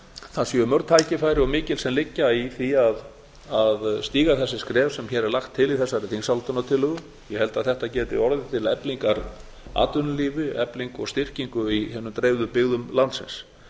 það séu mörg tækifæri og mikil sem liggja í því að stíga þessi skref sem hér er lagt til í þessari þingsályktunartillögu ég held að þetta geti orðið til eflingar atvinnulífi eflingar og styrkingar í hinum dreifðu byggðum landsins